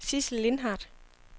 Sidsel Lindhardt